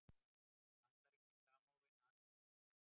Bandaríkin samofin Arabaheiminum